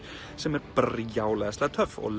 sem er bara brjálæðislega töff og